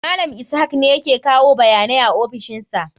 Malam Ishak ne yake kawo bayanai a ofishin sa.